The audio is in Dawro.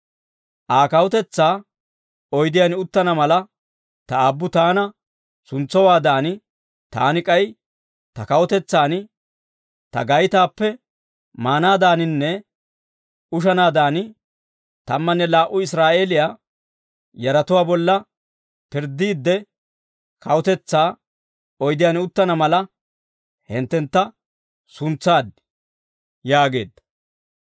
Aa kawutetsaa oydiyaan uttana mala Ta aabbu taana suntsowaadan, Taani k'ay Ta kawutetsaan ta gaytaappe maanaadaaninne ushanaadan, tammanne laa"u Israa'eeliyaa yaratuwaa bolla pirddiidde, kawutetsaa oydiyaan uttana mala hinttentta suntsaad» yaageedda.